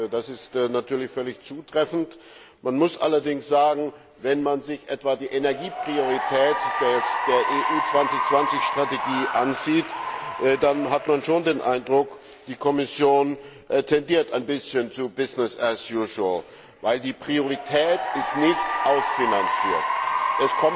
Das ist natürlich völlig zutreffend. Man muss allerdings sagen, wenn man sich etwa die Energiepriorität der EU 2020 Strategie ansieht, dann hat man schon den Eindruck, die Kommission tendiert ein wenig zu Business as usual weil die Priorität nicht ausfinanziert ist.